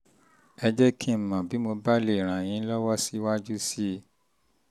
um ẹ um jẹ́ kí n mọ̀ bí mo bá lè ràn yín lọ́wọ́ síwájú sí i